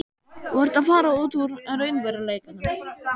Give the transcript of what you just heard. Þú ert að fara út úr raunveruleikanum.